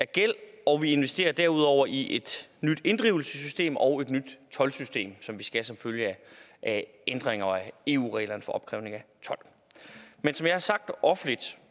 gæld og vi investerer derudover i et nyt inddrivelsessystem og et nyt toldsystem som vi skal have som følge af ændringer af eu regler for opkrævning af told men som jeg har sagt offentligt